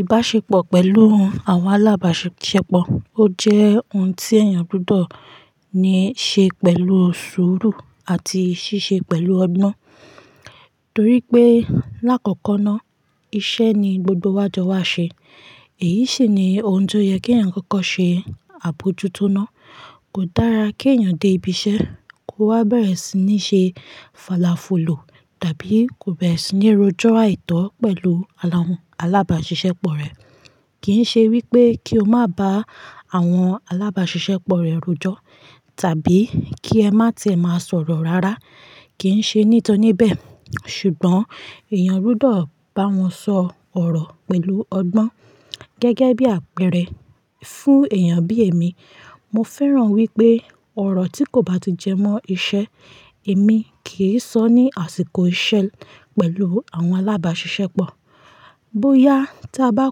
Ìbáṣepọ̀ pẹ̀lú àwọn alábàṣiṣẹ́pọ̀, ó jẹ́ ohun tí èèyàn gbọ́dọ̀ ní ṣe pẹ̀lú sùúrù àti ṣiṣẹ́ pẹ̀lú ọgbọ́n. Torí pé lákọ̀kọ̀ náà, iṣẹ́ ni gbogbo wa jọ wá ṣe. Èyí sì ni ohun tó yẹ kí ẹ̀yàn kọ̀ọ̀kan ṣe àbójútó ná. Kò dára kí èèyàn dé ibi iṣẹ́, kó wá bẹ̀rẹ̀ sí ní ṣe fàlàfulù tàbí kó bẹ̀rẹ̀ sí ní rojọ́ àìtọ́ pẹ̀lú àwọn alábàṣiṣẹ́pọ̀ rẹ̀. Kì ń ṣe wípé kí o má bá àwọn alábàṣiṣẹ́pọ̀ rẹ rojọ́, tàbí kí ẹ má tíe má sọ̀rọ̀ rárá. Kì ń ṣe ní ìtọ́ni bẹ́ẹ̀. Ṣùgbọ́n èèyàn rúdọ̀ bá wọn sọ ọ̀rọ̀ pẹ̀lú ọgbọ́n gẹ́gẹ́ bí àpẹẹrẹ fún èèyàn bí èmi. Mo fẹ́ràn wípé ọ̀rọ̀ tí kò bá ti jẹ mọ́ iṣẹ́, èmi kì í sọ ní àsìkò iṣẹ́ pẹ̀lú àwọn alábàṣiṣẹ́pọ̀. Boyà tí a bá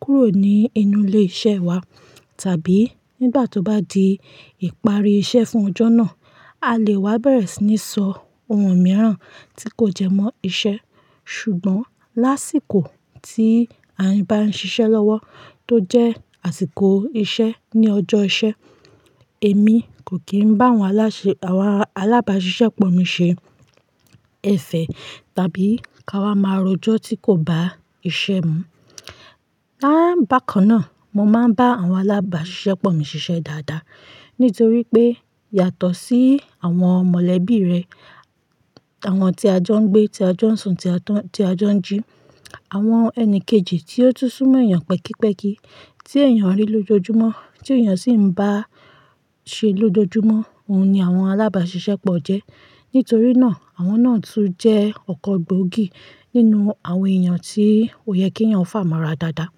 kúrò ní inú ilé iṣẹ́ wa tàbí nígbà tó bá di ìparí iṣẹ́ fún ọjọ́ náà, a lè wá bẹ̀rẹ̀ sí ní sọ ohun mìíràn tí kò jẹ mọ́ iṣẹ́. Ṣùgbọ́n lásìkò tí a bá ń ṣiṣẹ́ lọ́wọ́ tó jẹ́ àsìkò iṣẹ́ ní ọjọ́ iṣẹ́, èmi kò kí ń bá àwọn aláṣẹ-- àwọn alábàṣiṣẹ́pọ̀ mi ṣe ẹfẹ̀ tàbí ká wá máa rojọ́ tí kò bá iṣẹ́ mú. Láàbákànná, mo máa ń bá àwọn alábàṣiṣẹ́pọ̀ mi ṣiṣẹ́ dáadáa nítorí pé yàtọ̀ sí àwọn mọ̀lẹ́bí rẹ, àwọn tí a jọ ń gbé, tí a jọ ń sùn, tí a jọ ń jí, àwọn ẹni kejì tí ó tún sún mọ́ èèyàn pẹ́kipẹ́ki, tí èèyàn rí lójoojúmọ́, tí èèyàn sì ń bá ṣe lójoojúmọ́, òun ni àwọn alábàṣiṣẹ́pọ̀ jẹ́. Nítorí náà àwọn náà tún jẹ́ ọ̀kọ̀ gboògì nínú àwọn èèyàn tí ó yẹ kí èèyàn fàmọ́ra dáadáa.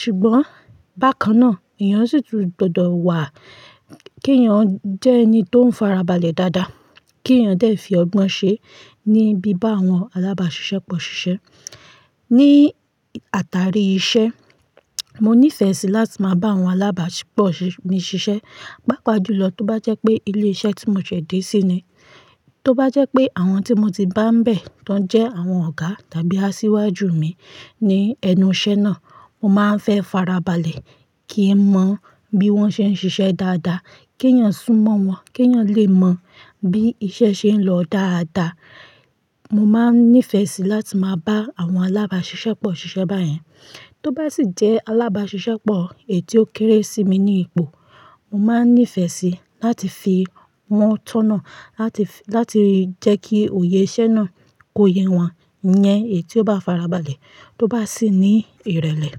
Ṣùgbọ́n bákan náà èèyàn sì tún gbọdọ̀ wà kí èèyàn jẹ́ ẹni tó ń fara balẹ̀ dáadáa, kí èèyàn dẹ̀ fi ọgbọ́n ṣe níbí bá àwọn alábàṣiṣẹ́pọ̀ ṣiṣẹ́. Ni àtàrí iṣẹ́, mo níìfẹ̀ sì láti máa bá àwọn alábàṣiṣẹ́pọ̀ mi ṣiṣẹ́. Pápa júlọ tó bá jẹ́ pé ilé iṣẹ́ tí mo ṣẹ̀ dé sí ni. Tó bá jẹ́ pé àwọn tí mo ti bá ń bẹ̀, tọ́ jẹ́ àwọn ọ̀gá tàbí asiwaju mi ní ẹnu iṣẹ́ náà, mo máa ń fẹ́ farabalẹ̀ kí n mọ bí wọ́n ṣe ń ṣiṣẹ́ dáadáa, kí èèyàn sún mọ́ wọn, kí èèyàn lè mọ bí iṣẹ́ ṣe ń lọ dáadáa. Mo máa ń nífẹ̀ẹ́ sì láti máa bá àwọn alábàṣiṣẹ́pọ̀ ṣiṣẹ́ báyẹn. Tó bá sì jẹ́ alábàṣiṣẹ́pọ̀ èyí tí ó kéré sí mi ní ipò, mo máa ń nífẹ̀ẹ́ sì láti fi won tọ́na, láti, láti jẹ́ kí òye iṣẹ́ náà kó yẹ wọ́n iyẹn èyí tí ó bá farabalẹ̀, tó bá sì ní ìrẹ̀lẹ̀.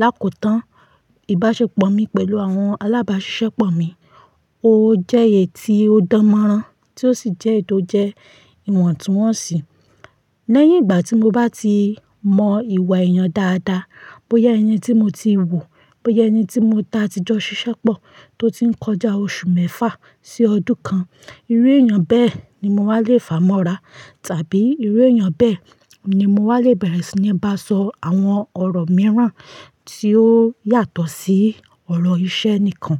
Láko tán, ìbáṣepọ̀ mi pẹ̀lú àwọn alábàṣiṣẹ́pọ̀ mi, ó jẹ́ èyí tí ó dánmọ́rán tí ó sì jẹ́ èyí tó jẹ́ ìwọ̀túnwọ̀nsì. Lẹ́yìn ìgbà tí mo bá ti mọ ìwà èèyàn dáadáa, bóyá ẹni tí mo ti wò, bóyá ẹni tí mo ta ìjọ ṣiṣẹ́pọ̀ tó ti ń kọjá oṣù mẹ́fà sí ọdún kan, irú èèyàn bẹ́ẹ̀ ni mo wá lè fà mọ́ra tàbí irú èèyàn bẹ́ẹ̀ ni mo wá lè bẹ̀rẹ̀ sí ní bá sọ àwọn ọ̀rọ̀ mìíràn tí ó yàtọ̀ sí ọ̀rọ̀ iṣẹ́ nìkan.